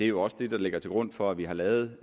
jo også det der ligger til grund for at vi har lavet